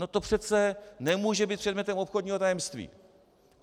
No to přece nemůže být předmětem obchodního tajemství.